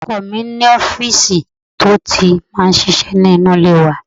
Ọkọ mi ní ọfísì ti ó ti máa ń ṣiṣẹ́ nínú ilé wa